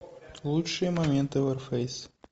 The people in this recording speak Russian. лучшие моменты варфейс